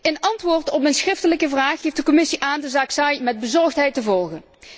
In antwoord op mijn schriftelijke vraag geeft de Commissie aan de zaak Say met bezorgdheid te volgen.